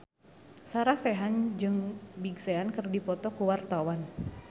Sarah Sechan jeung Big Sean keur dipoto ku wartawan